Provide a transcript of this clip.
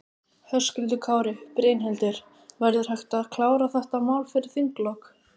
Höskuldur Kári: Brynhildur, verður hægt að klára þetta mál fyrir þinglok?